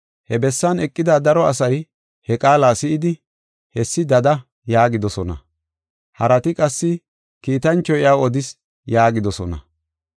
He bessan eqida daro asay he qaala si7idi, “Hessi dada” yaagidosona. Harati qassi, “Kiitanchoy iyaw odis” yaagidosona.